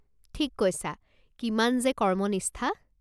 ঠিক কৈছা, কিমান যে কৰ্মনিষ্ঠা।